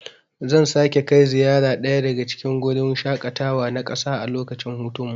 Zan sake kai ziyara daya daga cikin gurin shaƙatawa na ƙasa a lokacin hutunmu.